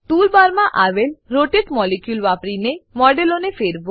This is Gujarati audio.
ટૂલ બારમાં આવેલ રોટેટ મોલિક્યુલ વાપરીને મોડેલને ફેરવો